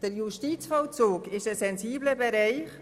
Der Justizvollzug ist ein sensibler Bereich.